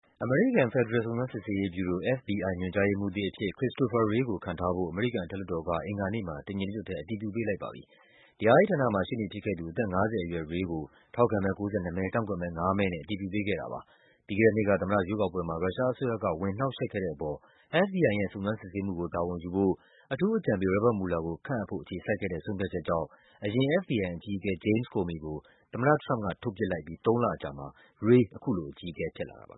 အမေရိကန် ဖက်ဒရယ် စုံစမ်းစစ်ဆေးရေး ဗျူရို FBI ညွှန်ကြားရေးမှူးသစ် အဖြစ် Christopher Wray ကို ခန့်ထားဖို့ အမေရိကန် အထက်လွှတ်တော်က အင်္ဂါနေ့မှာ တညီတညွတ် အတည်ပြု ပေးလိုက်ပါပြီ။ တရားရေးဌာန မှာ ရှေ့နေ ဖြစ်ခဲ့သူ အသက် ၅၀ အရွယ် Wray ကို ထောက်ခံမဲ ၉၂ မဲ၊ ကန့်ကွက်မဲ ၅ မဲ နဲ့ အတည်ပြုပေးခဲ့တာပါ။ ပြီးခဲ့တဲ့နှစ်က သမ္မတ ရွေးကောက်ပွဲမှာ ရုရှားအစိုးရက ဝင်နှောက်ယှက် ခဲ့တဲ့အပေါ် FBI ရဲ့ စုံစမ်းစစ်ဆေးမှုကို တာဝန်ယူဖို့ အထူးအကြံပေး Robert Mueller ကိုခန့်အပ်ဖို့ အခြေဆိုက်ခဲ့တဲ့ ဆုံးဖြတ်ချက်ကြောင့် ယခင် FBI အကြီးအကဲ James Comey ကို သမ္မတထရမ့်ပ်က ထုတ်ပစ်လိုက်ပြီး သုံးလအကြာမှာ Wray အခုလို အကြီးအကဲ ဖြစ်လာတာပါ